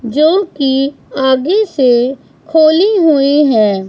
जो की आगे से खोली हुई है।